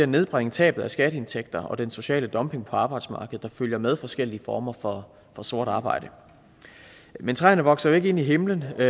nedbringe tabet af skatteindtægter og den sociale dumping på arbejdsmarkedet der følger med forskellige former for sort arbejde men træerne vokser jo ikke ind i himlen og